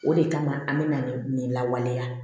O de kama an bɛna nin nin lawaleya